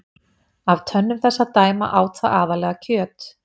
Af tönnum þess að dæma át það aðallega kjöt.